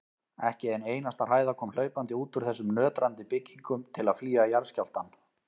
Ekki ein einasta hræða kom hlaupandi út úr þessum nötrandi byggingum til að flýja jarðskjálftann.